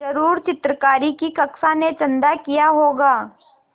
ज़रूर चित्रकारी की कक्षा ने चंदा किया होगा